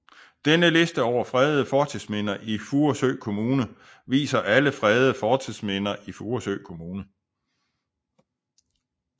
Denne liste over fredede fortidsminder i Furesø Kommune viser alle fredede fortidsminder i Furesø Kommune